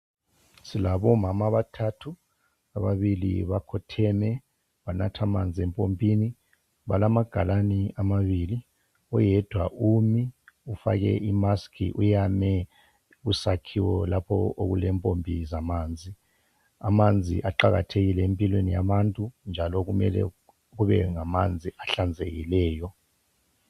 Silabomama abathathu . Ababili bakhotheme banatha amanzi empompini . Balamagalane amabili. Oyedwa umi ugqoke isayeke weyame isakhiwo lapho okulempompi zamanzi. Amanzi aqakathekile empilweni yabantu njalo mele kube ngamanzi ahlanzekileyo.